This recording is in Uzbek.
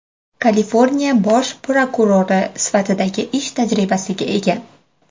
Kaliforniya bosh prokurori sifatidagi ish tajribasiga ega.